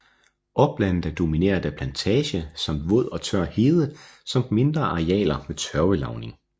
Oplandet er domineret af plantage samt våd og tør hede samt mindre arealer med tørvelavning